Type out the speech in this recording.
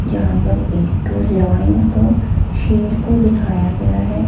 यहां पर एक लायन को शेर को दिखाया गया है।